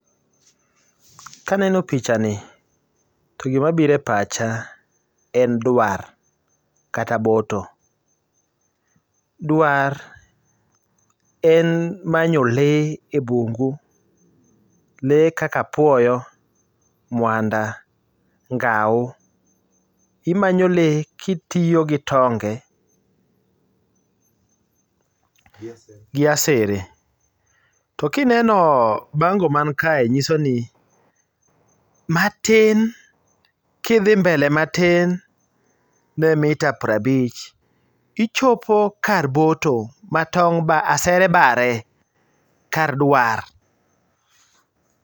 Kaneno pichani to gima biro e pacha en dwar kata boto. Dwar en manyo lee ebungu, lee kaka apuoyo, mwanda, ngau, imanyo lee kitiyo gi tonge gi asere to kineno bango man kae nyiso nmi matin kidhi mbele matin ne mita piero abich ichopo kar boto ma tong' ASERE BARE KAR DWAR.